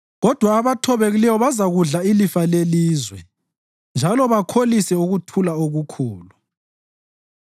Kodwa abathobekileyo bazakudla ilifa lelizwe njalo bakholise ukuthula okukhulu.